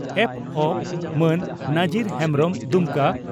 ᱯᱹᱵ) ᱢᱟᱱ ᱱᱟᱡᱤᱨ ᱦᱮᱢᱵᱽᱨᱚᱢ (ᱫᱩᱢᱠᱟ